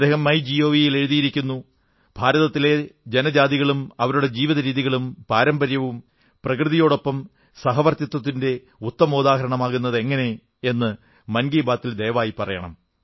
അദ്ദേഹം മൈ ജിഒവിയിൽ എഴുതിയിരിക്കുന്നു ഭാരതത്തിലെ ജനജാതികളും അവരുടെ ജീവിതരീതികളും പാരമ്പര്യവും പ്രകൃതിയോടൊപ്പം സഹവർത്തിത്വത്തിന്റെ ഉത്തമോദാഹരണമാകുന്നതെങ്ങനെ എന്നു മൻ കീ ബാത്തിൽ ദയവായി പറയണം